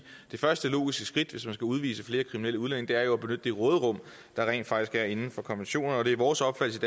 det første logiske skridt hvis man skal udvise flere kriminelle udlændinge at benytte det råderum der rent faktisk er inden for konventionerne og det er vores opfattelse